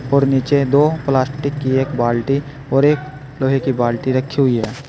और नीचे दो प्लास्टिक की एक बाल्टी और एक लोहे की बाल्टी रखी हुई है।